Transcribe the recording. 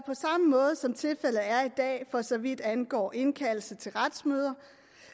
måde som tilfældet er i dag for så vidt angår indkaldelse til retsmøder